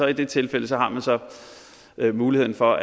i det tilfælde har man så muligheden for